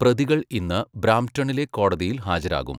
പ്രതികൾ ഇന്ന് ബ്രാംപ്ടണിലെ കോടതിയിൽ ഹാജരാകും.